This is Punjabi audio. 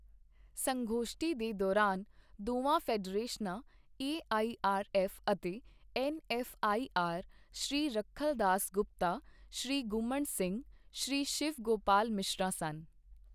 ਸੰਗੋਸ਼ਠੀ ਦੇ ਦੌਰਾਨ ਦੋਵਾਂ ਫੈਡਰੇਸ਼ਨਾਂ ਏਆਈਆਰਐੱਫ ਅਤੇ ਐੱਨਐੱਫਆਈਆਰ, ਸ਼੍ਰੀ ਰੱਖਲ ਦਾਸ ਗੁਪਤਾ, ਸ਼੍ਰੀ ਗੁੰਮਣ ਸਿੰਘ, ਸ਼੍ਰੀ ਸ਼ਿਵ ਗੋਪਾਲ ਮਿਸ਼ਰਾ ਸਨ।